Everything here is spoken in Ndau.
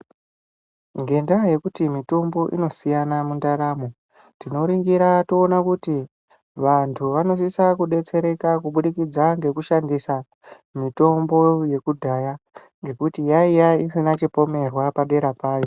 Ngendaya yokuti mitombo inoshiyana mundaramo tinoringira toona kuti vantu vanosesa kubetsereka kubudikidza ndekushandisa mitombo uyu kudhaya ndokuti yaya isina chipomerwa padera payo